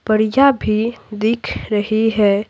बढ़िया भी दिख रही है।